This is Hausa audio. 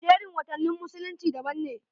Jerin watannin musulunci daban ne.